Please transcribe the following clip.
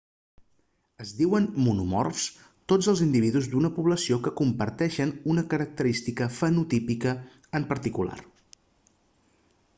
es diuen monomorfs tots els individus d'una població que comparteixen una característica fenotípica en particular